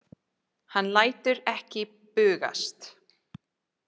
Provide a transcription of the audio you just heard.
Hann lætur ekki bugast.